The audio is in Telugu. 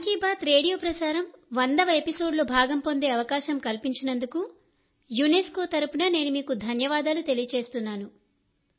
మన్ కీ బాత్ రేడియో ప్రసారం వందవ ఎపిసోడ్లో భాగంపొందే అవకాశం కల్పించినందుకు యునెస్కో తరపున నేను మీకు ధన్యవాదాలు తెలియజేస్తున్నాను